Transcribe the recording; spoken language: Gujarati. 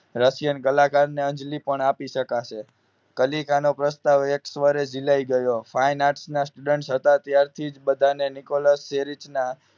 રશિયન કલાકારને અંજલિ પણ આપી શકશે કલીકા નો પ્રસ્તાવ એક વારે જીલાઈ ગયો finance ના student હતા ત્યારથી બધાને નિકોલસ જેરીચ ના